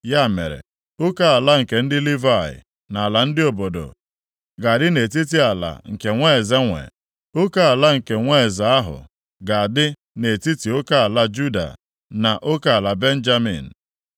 Ya mere, oke ala nke ndị Livayị na ala ndị obodo ga-adị nʼetiti ala nke nwa eze nwee. Oke ala nke nwa eze ahụ ga-adị nʼetiti oke ala Juda na oke ala Benjamin.